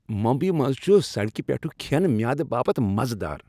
ممبی منز چھُ سڈكہِ پیٹھٗك كھین میادٕ باپت مزٕ دار۔